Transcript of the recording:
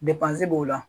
Depansi b'o la